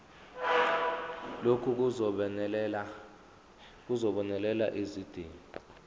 lokhu kuzobonelela izidingo